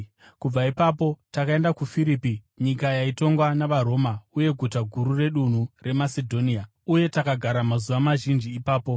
Kubva ipapo takaenda kuFiripi, nyika yaitongwa navaRoma uye guta guru redunhu reMasedhonia. Uye takagara mazuva mazhinji ipapo.